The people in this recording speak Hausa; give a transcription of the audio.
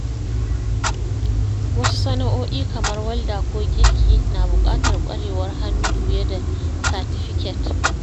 Wasu sana’o’i kamar walda ko girki na buƙatar ƙwarewar hannu fiye da satifiket.